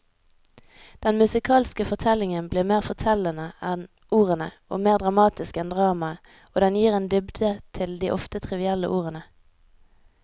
Den musikalske fortellingen blir mer fortellende enn ordene og mer dramatisk enn dramaet, og den gir en dybde til de ofte trivielle ordene.